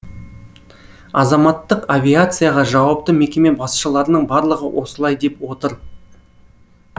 азаматтық авиацияға жауапты мекеме басшыларының барлығы осылай деп отыр